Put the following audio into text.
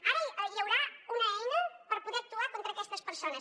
ara hi haurà una eina per poder actuar contra aquestes persones